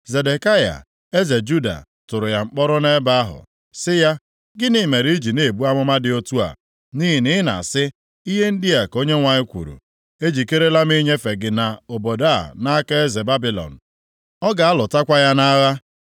Zedekaya eze Juda tụrụ ya mkpọrọ nʼebe ahụ, sị ya, “Gịnị mere i ji na-ebu amụma dị otu a. Nʼihi na ị na-asị, ‘Ihe ndị a ka Onyenwe anyị kwuru, ejikerela m inyefe gị na obodo a nʼaka eze Babilọn. Ọ ga-alụtakwa ya nʼagha.